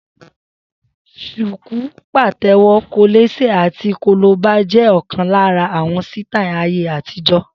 Shuku, patewo, kolese àti kolobá jẹ́ ọ̀kan lára àwọn sítáì ayé àtijọ́.